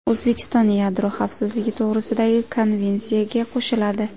O‘zbekiston Yadro xavfsizligi to‘g‘risidagi konvensiyaga qo‘shiladi.